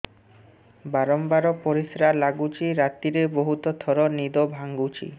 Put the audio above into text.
ବାରମ୍ବାର ପରିଶ୍ରା ଲାଗୁଚି ରାତିରେ ବହୁତ ଥର ନିଦ ଭାଙ୍ଗୁଛି